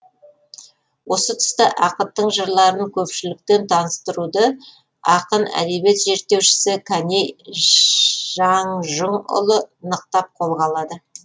осы тұста ақыттың жырларын көпшілікпен таныстыруды ақын әдебиет зерттеушісі кәкей жаңжұңұлы нықтап қолға алады